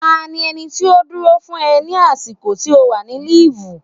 Ta ni ẹni tí ó dúró fún ẹ ní àsìkò tí o wà ní líìfù.